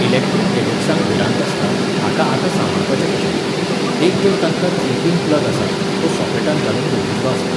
Electric गॅजेट्सांक भिरांत आसता, हांकां आतां सांबाळपाचें कशें? एक तर तांकां थ्री पीन प्लग आसा, तो सॉकेटांत घालून दवरिल्लो आसता